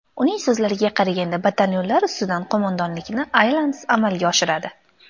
Uning so‘zlariga qaraganda, batalyonlar ustidan qo‘mondonlikni alyans amalga oshiradi.